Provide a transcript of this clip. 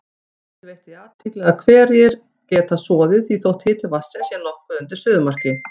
Þorkell veitti því athygli að hverir geta soðið þótt hiti vatnsins sé nokkuð undir suðumarki.